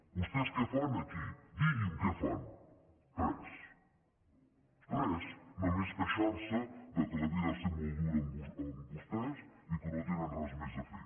vostès què fan aquí diguin què fan res res només queixar se que la vida ha set molt dura amb vostès i que no tenen res més a fer